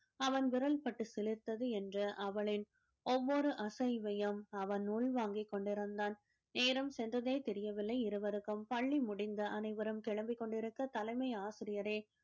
அவன் விரல் பட்டு சிலிர்த்தது என்ற அவளின் ஒவ்வொரு அசைவையும் அவன் உள் வாங்கி கொண்டிருந்தான் நேரம் சென்றதே தெரியவில்லை இருவருக்கும் பள்ளி முடிந்து அனைவரும் கிளம்பிக் கொண்டிருக்க தலைமை ஆசிரியரே